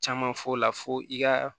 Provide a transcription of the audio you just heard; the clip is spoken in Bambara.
Caman f'o la fo i ka